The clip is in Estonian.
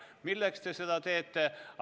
Milleks te seda teete?